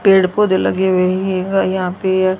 पेड़ पौधे लगे हुए हैं और यहां पे अह--